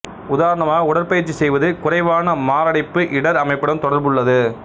உதாரணமாக உடற்பயிற்சி செய்வது குறைவான மாரடைப்பு இடர் அமைப்புடன் தொடர்புள்ளது